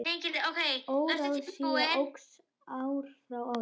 Óráðsía óx ár frá ári.